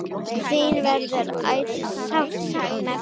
Þín verður ætíð sárt saknað.